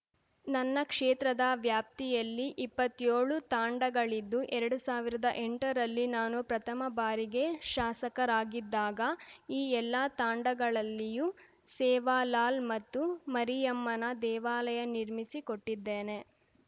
ನನ್ನ ಕ್ಷೇತ್ರದ ವ್ಯಾಪ್ತಿಯಲ್ಲಿ ಇಪ್ಪತ್ತೇಳು ತಾಂಡಗಳಿದ್ದು ಎರಡು ಸಾವಿರದ ಎಂಟರಲ್ಲಿ ನಾನು ಪ್ರಥಮ ಬಾರಿಗೆ ಶಾಸಕರಾಗಿದ್ದಾಗ ಈ ಎಲ್ಲಾ ತಾಂಡಗಳಲ್ಲಿಯೂ ಸೇವಾಲಾಲ್‌ ಮತ್ತು ಮರಿಯಮ್ಮನ ದೇವಾಲಯ ನಿರ್ಮಿಸಿ ಕೊಟ್ಟಿದ್ದೇನೆ